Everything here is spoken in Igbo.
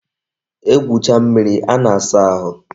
E gwucha mmiri a na-asa ahụ